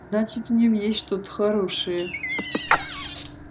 значит в нем есть что-то хорошее